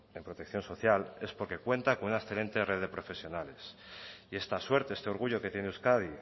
en protección social es porque cuenta con una excelente red de profesionales y esta suerte este orgullo que tiene euskadi